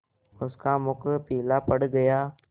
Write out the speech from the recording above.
उसका मुख पीला पड़ गया